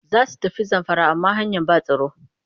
Za su tafi Zamfara amma ba hanyar ba tsaro